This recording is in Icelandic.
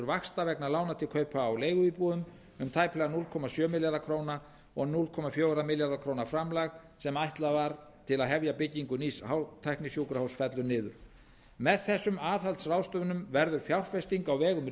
vaxta vegna lána til kaupa á leiguíbúðum um tæplega núll komma sjö milljarða króna og núll komma fjóra milljarða króna framlag sem ætlað var til að hefja byggingu nýs hátæknisjúkrahúss fellur niður með þessum aðhaldsráðstöfunum verður fjárfesting á vegum